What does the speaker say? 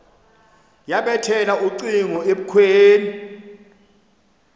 yabethela ucingo ebukhweni